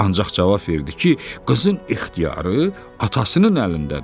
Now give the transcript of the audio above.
Ancaq cavab verdi ki, qızın ixtiyarı atasının əlindədir.